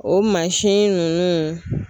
O mansin ninnu